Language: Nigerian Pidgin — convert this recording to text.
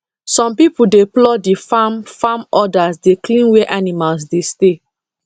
some people dey plough the farm farm others dey clean where animals dey stay